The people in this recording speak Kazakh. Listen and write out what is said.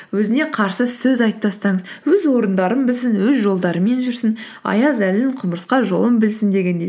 өзіне қарсы сөз айтып тастаңыз өз орындарын білсін өз жолдарымен жүрсін аяз әлін құмырсқа жолын білсін дегендей